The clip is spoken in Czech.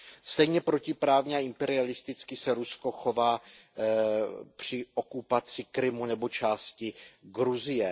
Stejně protiprávně a imperialisticky se Rusko chová při okupaci Krymu nebo části Gruzie.